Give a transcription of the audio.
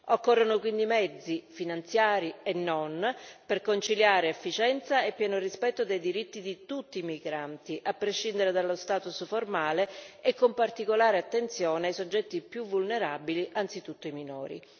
Occorrono quindi mezzi, finanziari e non, per conciliare efficienza e pieno rispetto dei diritti di tutti i migranti, a prescindere dallo status formale e con particolare attenzione ai soggetti più vulnerabili, anzitutto ai minori.